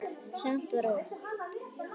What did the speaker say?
Samt var logn.